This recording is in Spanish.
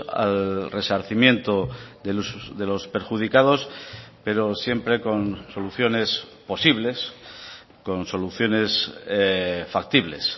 al resarcimiento de los perjudicados pero siempre con soluciones posibles con soluciones factibles